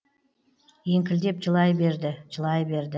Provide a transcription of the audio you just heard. еңкілдеп жылай берді жылай берді